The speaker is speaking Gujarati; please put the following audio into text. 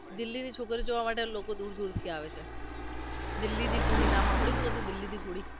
દિલ્હીની છોકરીઓ જોવા માટે લોકો દુર દુરથી આવે છે દિલ્હીની કુડી નામ સાંભળ્યુ છે દિલ્હીની કુડી